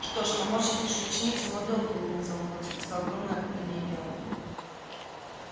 что ж помочь лучшей ученице мой долг улыбнулся локонс и достал огромное павлинье перо